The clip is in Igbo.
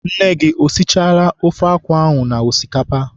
Nne gị esichala ofe akwụ ahụ na osikapa?